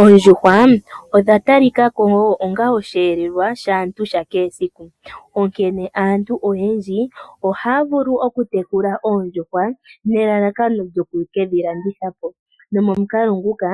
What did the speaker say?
Oondjuhwa odhatalikako onga osheelelwa shaantu sha kehe esiku. Onkene aantu oyendji ohaya vulu okutekula oondjuhwa nelalakano lyo kukedhilandithapo. Nomomukalo nguka